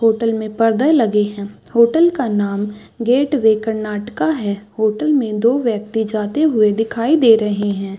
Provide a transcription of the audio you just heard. Hotel मे पर्दे लगे है होटल का नाम गेटवे कर्नाटका है होटल मे दो व्यक्ति जाते हुए दिखाई दे रहे है।